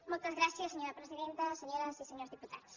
moltes gràcies senyora presidenta senyores i senyors diputats